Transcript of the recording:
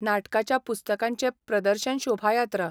नाटकाच्या पुस्तकांचे प्रदर्शन शोभायात्रा.